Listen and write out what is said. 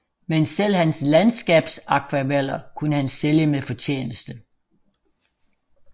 Men selv hans landskabsakvareller kunne han sælge med fortjeneste